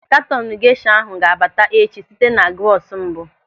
Katọnu gesha ahụ ga-abata echi site na bọọsụ mbụ.